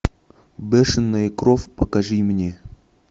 бешеная кровь покажи мне